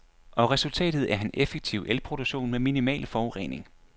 Og resultatet er en effektiv elproduktion med minimal forurening.